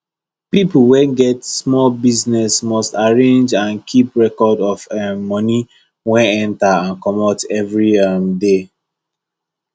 people wey get small business must arrange and keep record of um money wey enter and comot every um day